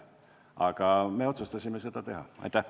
Aga me otsustasime selle avalduse siiski teha.